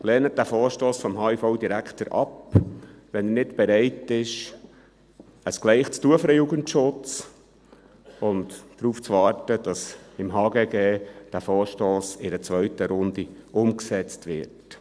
Lehnen sie diesen Vorstoss vom HIV-Direktor ab, wenn er nicht bereit ist, ein Gleich für den Jugendschutz zu tun und darauf zu warten, dass dieser Vorstoss im HGG in einer zweiten Runde umgesetzt wird.